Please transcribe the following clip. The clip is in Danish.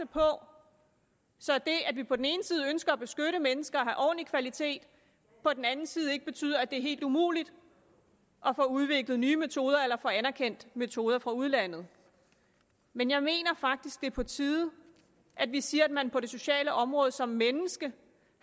på så det at vi på den ene side ønsker at beskytte mennesker og have ordentlig kvalitet på den anden side ikke betyder at det er helt umuligt at få udviklet nye metoder eller få anerkendt metoder fra udlandet men jeg mener faktisk det er på tide at vi siger at man på det sociale område som menneske